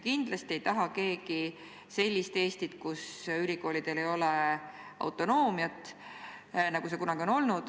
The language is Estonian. Kindlasti me keegi ei taha sellist Eestit, kus ülikoolidel ei oleks autonoomiat, nagu see kunagi on olnud.